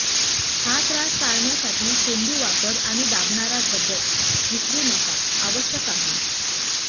या त्रास टाळण्यासाठी चेंडू वापर आणि दाबणारा बद्दल विसरू नका आवश्यक आहे